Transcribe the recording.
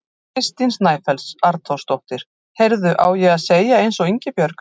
Kristín Snæfells Arnþórsdóttir: Heyrðu, á ég að segja eins og Ingibjörg?